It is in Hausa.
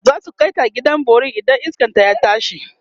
zasu kaita gidan bori idan iskan ta ya tashi